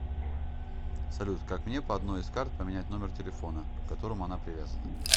салют как мне по одной из карт поменять номер телефона к которому она привязана